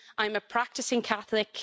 I'm a practising Catholic.